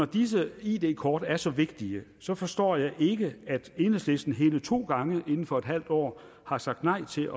disse id kort er så vigtige så forstår jeg ikke at enhedslisten hele to gange inden for et halvt år har sagt nej til